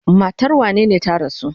Matar wanene ta rasu?